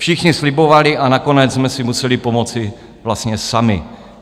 Všichni slibovali, a nakonec jsme si museli pomoci vlastně sami.